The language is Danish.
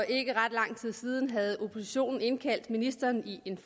ikke ret lang tid siden havde oppositionen indkaldt ministeren til en